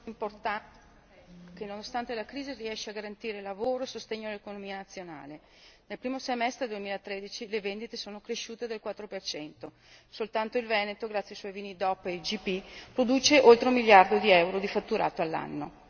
Signor Presidente, importante che, nonostante la crisi, riesce a garantire lavoro e sostegno all'economia nazionale. Nel primo semestre 2013 le vendite sono cresciute del 4 per cento. Soltanto il Veneto, grazie ai suoi vini DOP e IGP, produce oltre un miliardo di euro di fatturato all'anno.